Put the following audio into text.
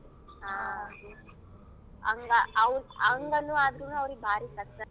ಹಾ. ಹಂಗಾ ಅವ್ರ್ ಹಂಗಾನು ಅವ್ರ್ಗ್ ಭಾರಿ ಕಷ್ಟ.